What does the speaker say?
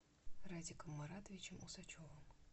радиком маратовичем усачевым